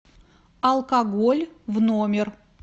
алкоголь в номер